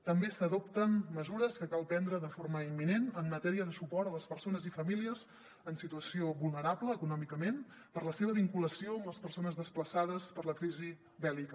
també s’adopten mesures que cal prendre de forma imminent en matèria de suport a les persones i famílies en situació vulnerable econòmicament per la seva vinculació amb les persones desplaçades per la crisi bèl·lica